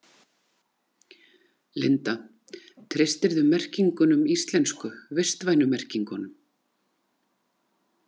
Linda: Treystirðu merkingunum íslensku, vistvænu merkingunum?